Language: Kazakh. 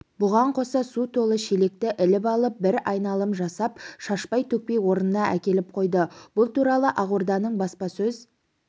бұған қоса су толы шелекті іліп алып бір айналым жасап шашпай-төкпей орнына әкеліп қойды бұл туралы ақорданың баспасөз